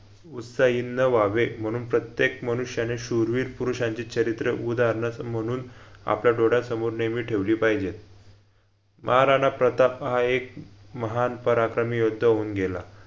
उत्साहीन न व्हावे म्हणून प्रत्येक मनुष्याने शुरवीर पुरुषांची चरित्र उदाहरणं म्हणून आपल्या डोळ्यासमोर नेहमी ठेवली पाहिजेत महाराणा प्रताप हा एक महान पराक्रमी योद्धा होऊन गेला